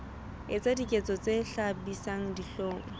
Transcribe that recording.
etsa diketso tse hlabisang dihlong